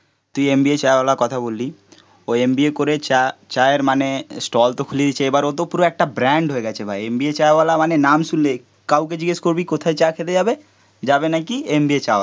তুই MBA চাওয়ালার কথা বললি. ও MBA করে চা, চায়ের মানে স্টল তো খুলিয়েছে. এবার ও তো পুরো একটা ব্র্যান্ড হয়ে গেছে ভাই. MBA চাওয়ালা মানে নাম শুনলে. কাউকে জিজ্ঞেস করবি কোথায় চা খেতে যাবে? যাবে নাকি? MBA চাওয়ালা